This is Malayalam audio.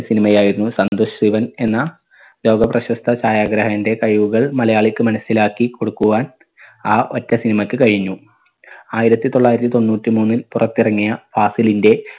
cinema യായിരുന്നു സന്തുഷ്രിവൻ എന്ന ലോകപ്രശസ്ത ഛായാഗ്രാഹന്റെ കഴിവുകൾ മലയാളിക്ക് മനസ്സിലാക്കിക്കൊടുക്കുവാൻ ആ ഒറ്റ cinema ക്ക് കഴിഞ്ഞു. ആയിരത്തി തൊള്ളായിരത്തി തൊണ്ണൂറ്റി മൂന്നിൽ പുറത്തിറങ്ങിയ ഫാസിലിന്റെ